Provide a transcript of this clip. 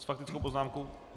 S faktickou poznámkou?